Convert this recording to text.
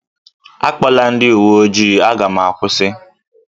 A kpọla ndị uwe ojii. Aga m akwusi